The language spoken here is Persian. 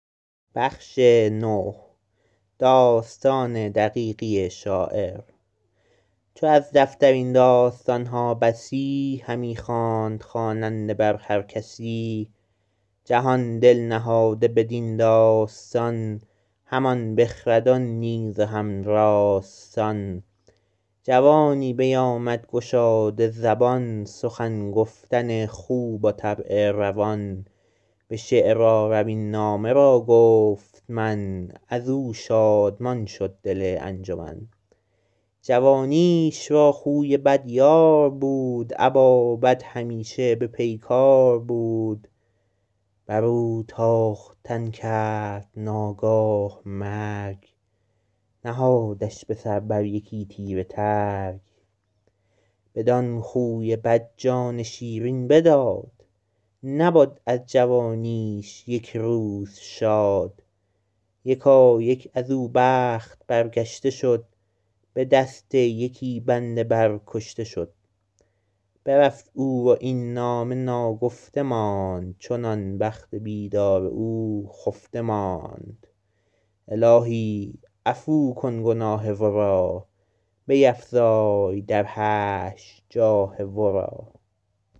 چو از دفتر این داستان ها بسی همی خواند خواننده بر هر کسی جهان دل نهاده بدین داستان همان بخردان نیز و هم راستان جوانی بیامد گشاده زبان سخن گفتن خوب و طبع روان به شعر آرم این نامه را گفت من از او شادمان شد دل انجمن جوانیش را خوی بد یار بود ابا بد همیشه به پیکار بود بر او تاختن کرد ناگاه مرگ نهادش به سر بر یکی تیره ترگ بدان خوی بد جان شیرین بداد نبد از جوانیش یک روز شاد یکایک از او بخت برگشته شد به دست یکی بنده بر کشته شد برفت او و این نامه ناگفته ماند چنان بخت بیدار او خفته ماند الهی عفو کن گناه ورا بیفزای در حشر جاه ورا